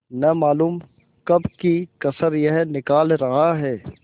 न मालूम कब की कसर यह निकाल रहा है